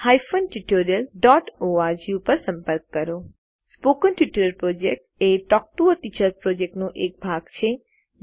spoken tutorial project એ talk to a teacher પ્રોજેક્ટનો એક ભાગ છે